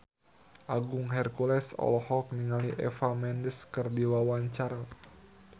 Agung Hercules olohok ningali Eva Mendes keur diwawancara